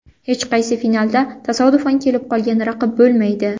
Hech qaysi finalda tasodifan kelib qolgan raqib bo‘lmaydi”.